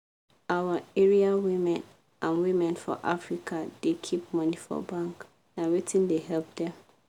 our area women and women for africa da keep money for bank na wetin da help dem